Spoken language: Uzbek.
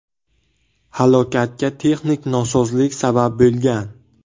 Halokatga texnik nosozlik sabab bo‘lgan.